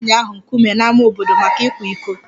A tụrụ nwanyị ahụ nkume n'ámá obodo maka ịkwa iko